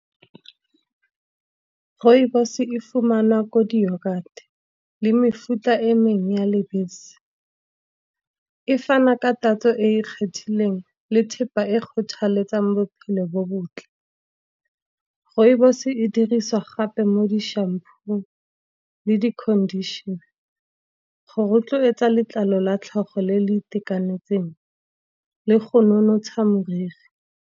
Rooibos e fumana ko di-yoghurt le mefuta e mengwe ya lebese. E fana ka tatso e e kgethileng le thepa e kgothaletsang bophelo bo bontle. Rooibos e dirisiwa gape mo di-shampoo le di-conditioner, go rotloetsa letlalo la tlhogo le le itekanetseng, le go nonotsha moriri.